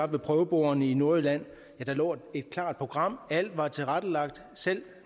ved prøveboringerne i nordjylland lå der kort et klart program alt var tilrettelagt selv